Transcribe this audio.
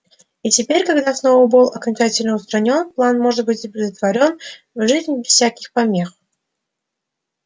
и теперь когда сноуболл окончательно устранён план может быть претворён в жизнь без всяких помех